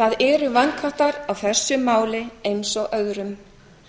það eru vankantar á þessu máli eins og öðrum